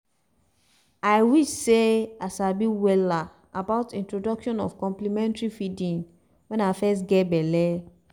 ah i wish seh i sabi wella about introduction of complementary feeding when i fess geh belle